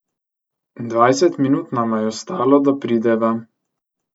Dvajset minut nama je ostalo, da prideva.